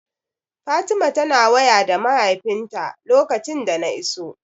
Fatima tana waya da mahaifinta lokacin da na iso.